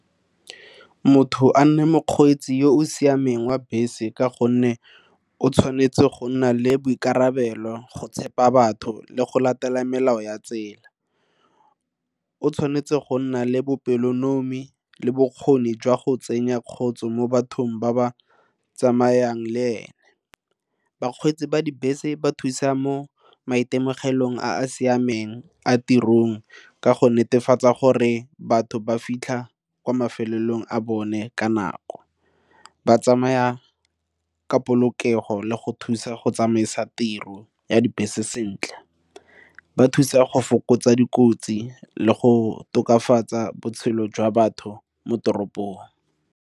Motho a nne mokgweetsi yo o siameng wa bese ka gonne o tshwanetse go nna le boikarabelo go tshepa batho le go latela melao ya tsela, o tshwanetse go nna le bopelonomi le bokgoni jwa go tsenya kgotsa mo bathong ba ba tsamayang le ene. Bakgweetsi ba dibese ba thusa mo maitemogelong a a siameng a tirong ka go netefatsa gore batho ba fitlha kwa mafelong a bone ka nako, ba tsamaya ka polokego le go thusa go tsamaisa tiro ya dibese sentle, ba thusa go fokotsa dikotsi le go tokafatsa botshelo jwa batho mo toropong.